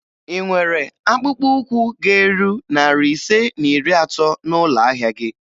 Ị nwere akpụkpọụkwụ ga-eru narị ise na iri atọ n'ụlọ ahịa gị?